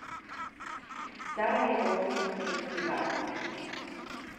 Sarajevo Film Festival.